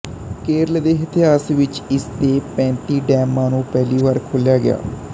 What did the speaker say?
ਕੇਰਲ ਦੇ ਇਤਿਹਾਸ ਵਿੱਚ ਇਸ ਦੇ ਪੈਂਤੀ ਡੈਮਾਂ ਨੂੰ ਪਹਿਲੀ ਵਾਰ ਖੋਲਿਆ ਗਿਆ